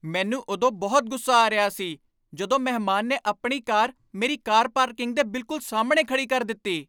ਮੈਨੂੰ ਉਦੋਂ ਬਹੁਤ ਗੁੱਸਾ ਆ ਰਿਹਾ ਸੀ ਜਦੋਂ ਮਹਿਮਾਨ ਨੇ ਆਪਣੀ ਕਾਰ ਮੇਰੀ ਕਾਰ ਪਾਰਕਿੰਗ ਦੇ ਬਿਲਕੁਲ ਸਾਹਮਣੇ ਖੜ੍ਹੀ ਕਰ ਦਿੱਤੀ।